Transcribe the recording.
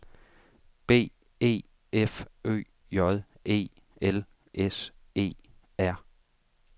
B E F Ø J E L S E R